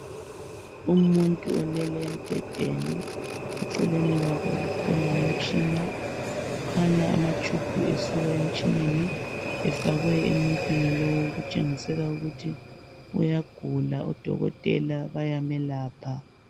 Umuntu olele embhedeni. Eceleni kwakhe kukhona umtshina. Kukhanya amatshubhu esuka emtshineni efakwe emuntwini lowu okutshengisela ukuthi uyagula, odokotela bayamelapha.